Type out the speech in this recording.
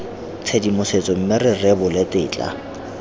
tshedimosetso mme bo rebole tetla